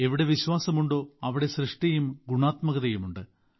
എവിടെ വിശ്വാസമുണ്ടോ അവിടെ സൃഷ്ടിയും ഗുണാത്മകതയുമുണ്ട്